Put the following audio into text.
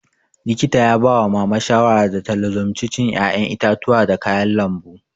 Likita ya ba wa mama shawara da ta lazimci cin ƴaƴen itatuwa da kayan lambu